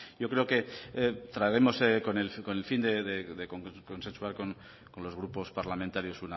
yo creo que traeremos con el fin de consensuar con los grupos parlamentarios